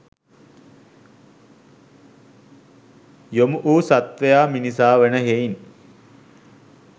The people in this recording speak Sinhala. යොමු වූ සත්වයා මිනිසා වන හෙයිනි.